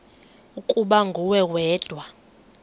ukuba nguwe wedwa